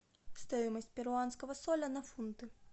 стоимость перуанского соля на фунты